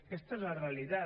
aquesta és la realitat